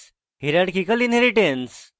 hierarchical inheritance